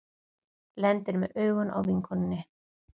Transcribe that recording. Lendir með augun á vinkonunni.